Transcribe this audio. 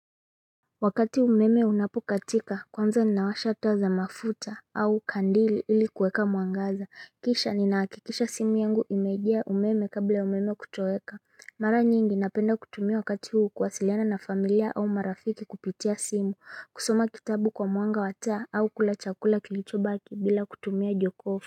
Wakati umeme unapokatika kwanza ni nawasha taza mafuta au kandili ilikuweka mwangaza kisha ni nakikisha simu yangu imejia umeme kabla umeme kutoweka Mara nyingi napenda kutumia wakati huu kwasiliana na familia au marafiki kupitia simu kusoma kitabu kwa mwanga wa taa au kulachakula kilicho baki bila kutumia jokofu.